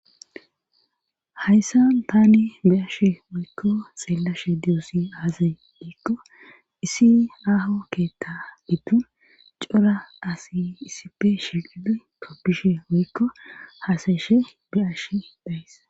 Hayssan taani be7ashe woykko xeellashe diyosi aaze giikko issi aaho kketta giddon cora asi issippe shiiqidi tobbishe woykko hasayishe be7ashe de7ays.